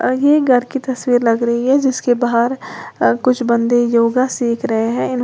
और ये घर की तस्वीर लग रही है जिसके बाहर अ कुछ बंदे योगा सीख रहे हैं।